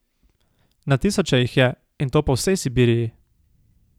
Na tisoče jih je, in to po vsej Sibiriji.